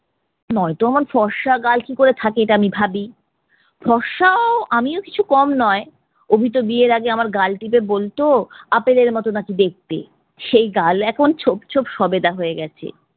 নয়তো অমন ফর্সা গাল কি করে থাকে ইটা আমি ভাবি। ফর্সাও আমিও কিছু কম নয়. অভি তো বিয়ের আগে আমার গাল টিপে বলতো আপেলের মতো নাকি দেখতে। সেই গাল এখন ছোপ ছোপ সবেদা হয়ে গেছে।